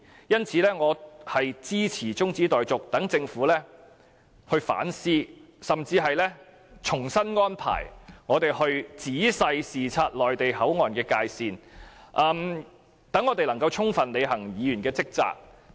因此，我支持中止待續議案，讓政府反思甚至重新安排我們仔細視察內地口岸的界線，從而使我們能夠充分履行議員的職責。